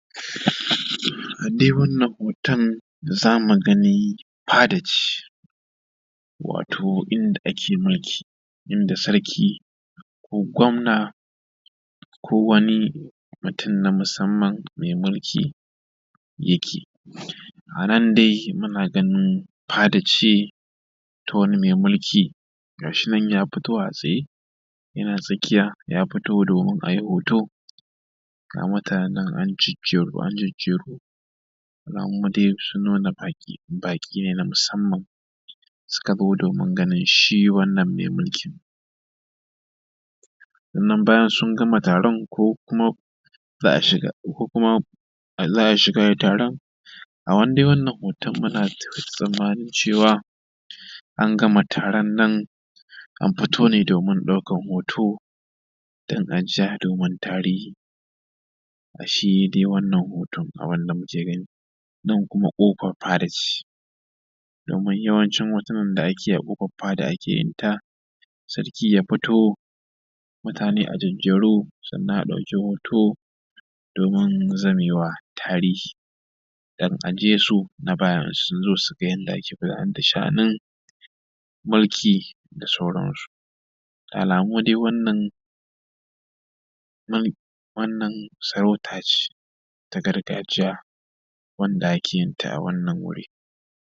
a dai wannan hoton za mu gani fada ce wato inda ake mulki inda sarki ko gwamna ko wani mutum na musamman mai mulki yake a nan dai muna ganin fada ce ta wani mai mulki gashi nan ya fito a tsaye yana tsakiya ya fito domin a yi hoto ga mutanen an jejjeru an jejjeru alamu dai sun nuna baƙi ne na musamman suka zo domin ganin shi wannan mai mulki sannan bayan sun gama taron ko kuma za a shiga taron a dai wannan hoton muna tsammanin cewa an gama taron nan an fito domin ɗaukan hoto don ajiya domin tarihi shi dai wannan hoton kaman yadda muke gani nan kuma ƙofar fada ce domin yawan cin hotunan da ake yi a ƙofan fada ake yi ta sarki ya fito mutane a jejjeru sannan a ɗauki hoto domin zame wa tarihi don a ajiye su na baya in sun zo su gani yadda ake gudanar da sha’anin mulki da sauransu da alamu dai wannan sarauta ce ta gargajiya wanda ake yinta a wannan wuri